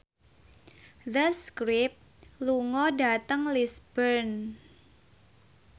The Script lunga dhateng Lisburn